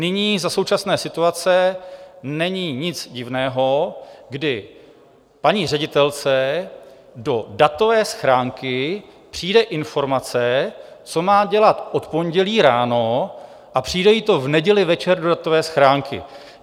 Nyní, za současné situace, není nic divného, kdy paní ředitelce do datové schránky přijde informace, co má dělat od pondělí ráno, a přijde jí to v neděli večer do datové schránky.